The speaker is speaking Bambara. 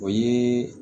O ye